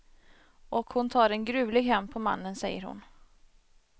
Och hon tar en gruvlig hämnd på mannen, säger hon.